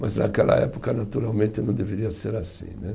Mas naquela época, naturalmente, não deveria ser assim né.